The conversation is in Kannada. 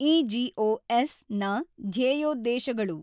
ಇಜಿಒಎಸ್ ನ ಧ್ಯೇಯೋದ್ದೇಶಗಳು